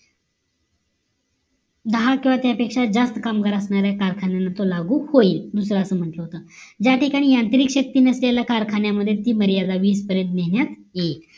दहा किंवा त्यापेक्षा जास्त कामगार असणाऱ्या कारखान्यांना तो लागू होईल दुसरं असा म्हंटल होत ज्या ठिकाणी यांत्रिक शेती नसलेल्या कारखान्या मध्ये ती मर्यादा वीस पर्यंत नेण्यात येईल